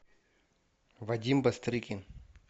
вадим бастрыкин